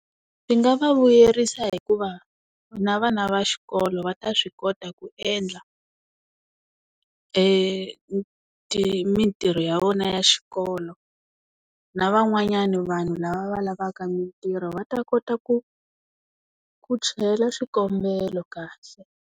Swi nga va vuyerisa hikuva na vana va xikolo va ta swi kota ku endla mintirho ya vona ya xikolo na van'wanyani vanhu lava va lavaka mintirho va ta kota ku ku chela xikombelo kahle.